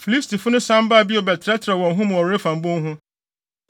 Filistifo no san baa bio bɛtrɛtrɛw wɔn ho mu wɔ Refaim bon ho,